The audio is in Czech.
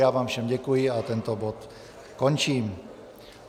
Já vám všem děkuji a tento bod končím.